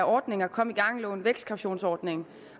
ordninger kom i gang lån vækstkautionsordning